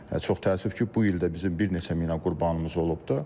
Çox təəssüf ki, bu il də bizim bir neçə mina qurbanımız olubdur.